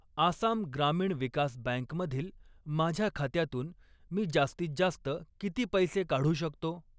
Assam Gramin Vikas bank मधील माझ्या खात्यातून मी जास्तीत जास्त किती पैसे काढू शकतो?